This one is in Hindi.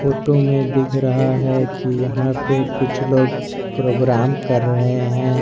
फोटो में दिख रहा है कि यहां पे कुछ लोग प्रोग्राम कर रहे हैं।